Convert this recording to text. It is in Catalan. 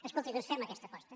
escolti doncs fem aquesta aposta